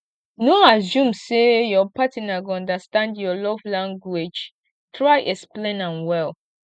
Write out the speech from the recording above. no assume say your partner go understand your love language try explain am well